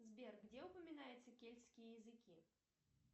сбер где упоминаются кельтские языки